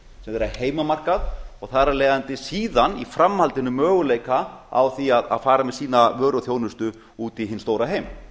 sem þeirra heimamarkað og þar af leiðandi síðan í framhaldinu möguleika á því að fara með sína vöru og þjónustu út í hinn stóra heim